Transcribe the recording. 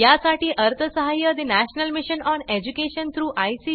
यासाठी अर्थसहाय्य national mission on education through I